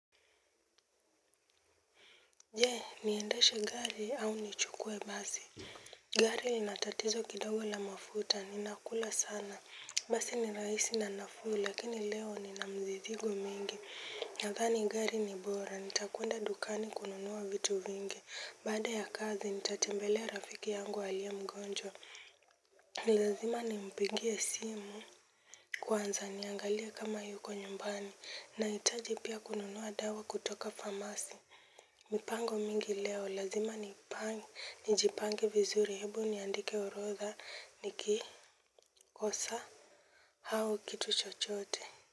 Jee, niendeshe gari au nichukue basi. Gari linatatizo kidogo la mafuta, ninakula sana. Basi ni raisi na nafuu, lakini leo ninamzidhigo mingi. Na gani gari ni bora, nitakuenda dukani kununua vitu vingi. Baada ya kazi, nitatembelea rafiki yangu aliye mgonjwa. Ni lazima nimpigie simu kwanza niangalie kama yuko nyumbani, nahitaji pia kununua dawa kutoka famasi. Mipango mingi leo lazima nijipange vizuri ebu niandike orodha nikikosa hao kitu chochote.